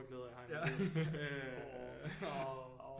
Glæder jeg har i mit liv